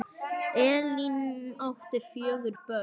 Elín átti fjögur börn.